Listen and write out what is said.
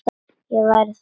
Ég væri þannig gerður.